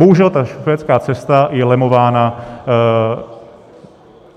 Bohužel ta švédská cesta je lemována